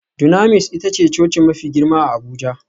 Dunamis ita ce coci mafi girma a Abuja